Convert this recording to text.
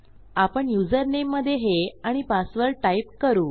आपण युजरनेममधे हे आणि पासवर्ड टाईप करू